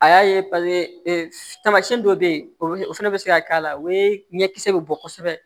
A y'a ye paseke tamasiyɛn dɔ bɛ yen o fɛnɛ bɛ se ka k'a la o ye ɲɛ kisɛ bɛ bɔ kosɛbɛ